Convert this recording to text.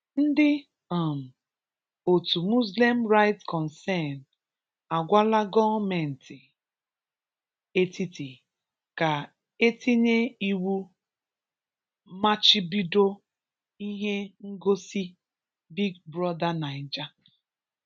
Ndị um otu Muslim Rights Concern (MURIC) agwala gọọmentị etiti ka etinye iwụ machibido ihe ngosi Big Brother Naija.